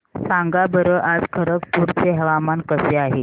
सांगा बरं आज खरगपूर चे हवामान कसे आहे